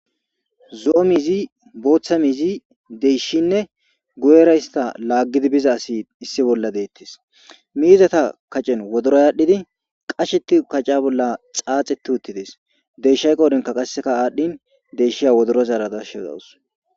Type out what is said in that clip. Zo7o miizi booththa miizi deyshinne gu7era hista laaggidi biza asi issi bolla deettes miizata kacen wodora yaadhdhidi qasheti kacca bolla xaaxe tu uttides deyshay qoodenka qasseka aadhdhin deyshiya wodorozaaradasheodawus